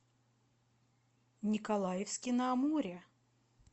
николаевске на амуре